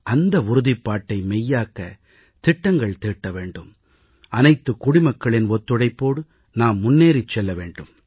அந்த உறுதிப்பாட்டை மெய்யாக்க திட்டங்கள் தீட்ட வேண்டும் அனைத்து குடிமக்களின் ஒத்துழைப்போடு நாம் முன்னேறிச் செல்ல வேண்டும்